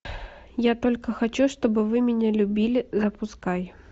я только хочу чтобы вы меня любили запускай